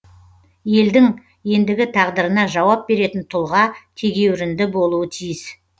елдің ендігі тағдырына жауап беретін тұлға тегеурінді болуы тиіс